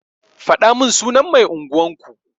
Fadamin sunan mai unguwan ku.